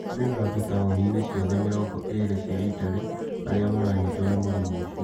Kũrĩ na andũtaũni-inĩ ciothe mirongo ĩ iri cia Italy arĩa maranyitwo nĩ mũrimũ ũcio